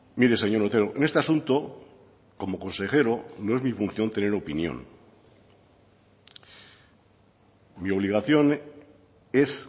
mire señor otero en este asunto como consejero no es mi función tener opinión mi obligación es